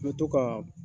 N bɛ to kaa